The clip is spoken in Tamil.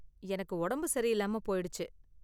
எனக்கு உடம்பு சரியில்லாம போயிடுச்சு.